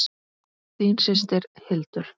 Þín systir, Hildur.